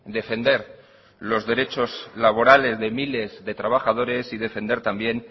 defender los derechos laborales de miles de trabajadores y defender también